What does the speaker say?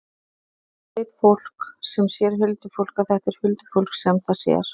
Hvernig veit fólk sem sér huldufólk að þetta er huldufólk sem það sér?